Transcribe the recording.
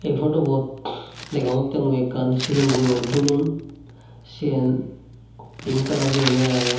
ey phodu bot degongotte mui ekkan sigon guror dulon sien pink colour guriney agey.